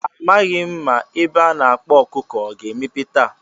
A maghị m ma ebe a na-akpa ọkụkọ ọ ga-emepe taa.